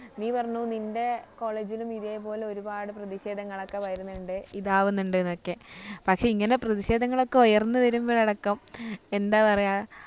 നീ പറഞ്ഞു നിൻ്റെ college ലും ഇതേപോലെ ഒരുപാട് പ്രധിഷേധങ്ങളൊക്കെ വരുന്നുണ്ട് ഇതാവുന്നുണ്ട്ന്നൊക്കെ പക്ഷെ ഇങ്ങനെ പ്രധിഷേധങ്ങളൊക്കെ ഉയർന്നു വരുമ്പഴടക്കം എന്താ പറയ